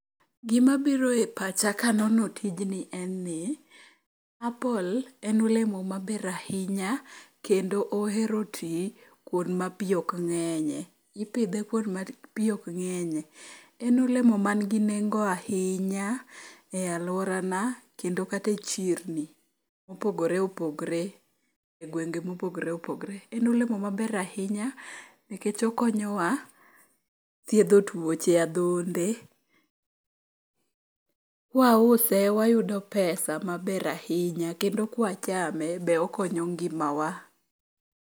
Gimabiro e pacha kanono tijni en ni apple en olemo maber ahinya kendo ohero ti kuond ma pi ok ng'enye, ipidhe kuond ma pi okng'enye. En olemo mangi nengo ahinya e alworana kendo kata e chirni mopogore opogore e gwenge mopogre opogre. En olemo maber ahinya nikech okonyowa thiedho tuoche adhonde. Kwause wayudo pesa maber ahinya kendo kwachame be okonyo ngimawa.